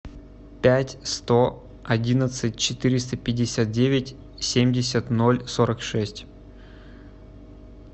пять сто одиннадцать четыреста пятьдесят девять семьдесят ноль сорок шесть